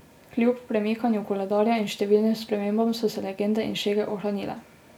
Kljub premikanju koledarja in številnim spremembam so se legende in šege ohranile.